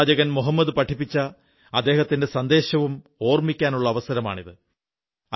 പ്രവാചകൻ മുഹമ്മദ് പഠിപ്പിച്ച അദ്ദേഹത്തിന്റെ സന്ദേശവും ഓർമ്മിക്കാനുള്ള അവസരമാണിത്